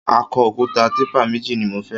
Akọ òkúta típà méjì ni mo fẹ́